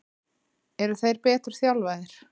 Eru þeir betur þjálfaðir?